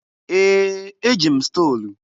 Ee! Eji m stolu.